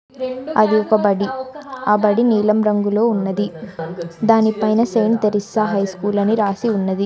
అది ఒక బడి ఆ బడి నీలం రంగులో ఉన్నది దానిపైన సెయింట్ తెరిసా హైస్కూల్ అని రాసి ఉన్నది.